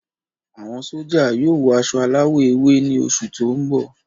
Àwọn sójà yóò wọ aṣọ aláwọ̀ ewé ni oṣù tó ń bọ